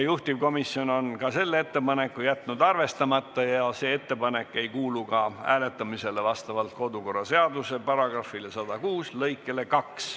Juhtivkomisjon on ka selle ettepaneku jätnud arvestamata ja see ei kuulu hääletamisele vastavalt kodukorraseaduse § 106 lõikele 2.